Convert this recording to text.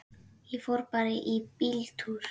Ég fór bara í bíltúr.